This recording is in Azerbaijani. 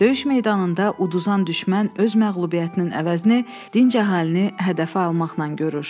Döyüş meydanında uduzan düşmən öz məğlubiyyətinin əvəzini dinc əhalini hədəfə almaqla görür.